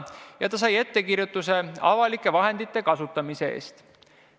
Talle tehti ettekirjutus avalike vahendite lubamatu kasutamise eest.